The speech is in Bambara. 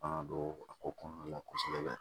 An ka don a ko kɔnɔna la kosɛbɛ